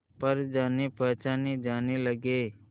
पर जानेपहचाने जाने लगे